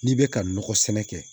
N'i bɛ ka nɔgɔ sɛnɛ kɛ